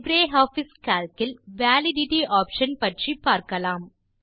LibreOffice Calc இல் validity option பற்றி பார்க்கலாம்